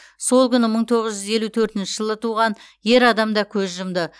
сол күні мың тоғыз жүз елу төртінші жылы туған ер адам да көз жұмды